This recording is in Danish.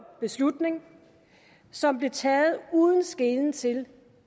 beslutning som blevet taget uden skelen til